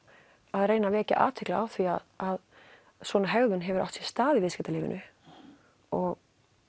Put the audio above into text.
að reyna að vekja athygli á því að svona hegðun hefur átt sér stað í viðskiptalífinu og